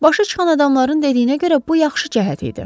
Başı çıxan adamların dediyinə görə bu yaxşı cəhət idi.